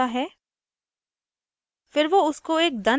ramu पूरा किस्सा बताता है